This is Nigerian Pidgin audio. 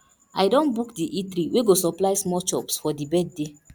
i don book di eatery wey go supply small chops for di birthday